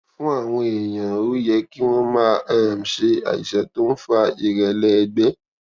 fún àwọn èèyàn ó yẹ kí wón máa um ṣe àìsàn tó ń fa ìrẹlẹ ẹgbẹ